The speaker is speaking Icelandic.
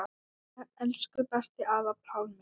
Elsku besti afi Pálmi.